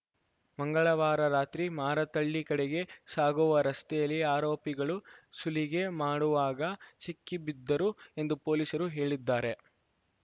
ಮಂಗಳವಾರ ರಾತ್ರಿ ಮಾರತ್ತಹಳ್ಳಿ ಕಡೆಗೆ ಸಾಗುವ ರಸ್ತೆಯಲ್ಲಿ ಆರೋಪಿಗಳು ಸುಲಿಗೆ ಮಾಡುವಾಗ ಸಿಕ್ಕಿಬಿದ್ದರು ಎಂದು ಪೊಲೀಸರು ಹೇಳಿದ್ದಾರೆ